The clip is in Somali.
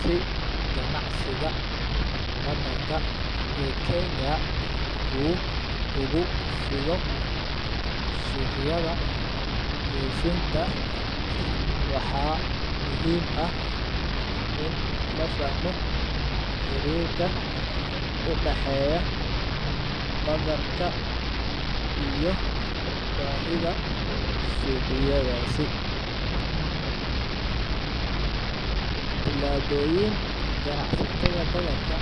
Si ganacsiga Badarka e Kenya u ugu fidho suqyada doofinta waxa muhim ah in lafahmo xerirka si ganacsiga badarka e Kenya u ugufiido suqyada dhoofinta. Waxa muhim ah la fahmo xerirka udaxeya badarka iyo bahidha suqyadasi. Tilaboyin ganacsatada badarka